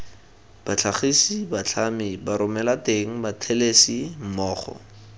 batlhagisi batlhami baromelateng bathelesi mmogo